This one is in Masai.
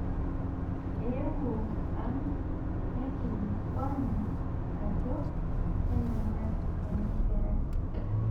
Eewuo enang' neikilikuanu ajo keneng'ai ena kerai